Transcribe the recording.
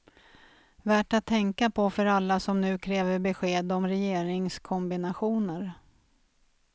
Värt att tänka på för alla som nu kräver besked om regeringskombinationer.